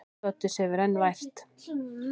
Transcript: Doddi sefur enn vært.